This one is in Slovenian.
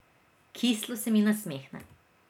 Kislo se mi nasmehne.